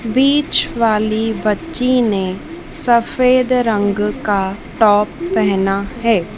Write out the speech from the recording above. बीच वाली बच्ची ने सफेद रंग का टॉप पहना है।